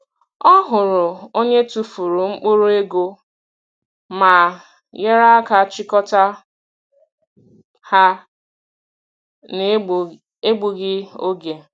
Ọ hụrụ onye tụfuru mkpụrụ ego ma nyere aka chịkọta ha n’egbughị oge.